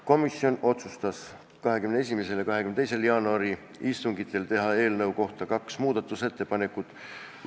Komisjon otsustas 21. ja 22. jaanuari istungil teha eelnõu kohta kaks muudatusettepanekut.